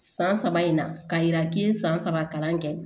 San saba in na k'a yira k'i ye san saba kalan kɛ